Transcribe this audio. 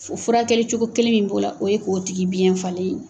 Furakɛli cogo kelen min b'o la, o ye ko tigi biyɛn falen .